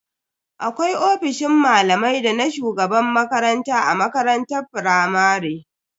Akwai ofisoshin malamai dana shugaban makaranta a makarantar firamare.